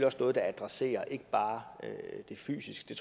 også noget der adresserer ikke bare det fysiske